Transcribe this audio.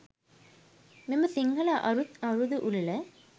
මෙම සිංහල අළුත් අවුරුදු උළෙල